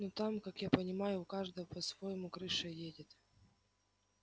но там как я понимаю у каждого по-своему крыша едет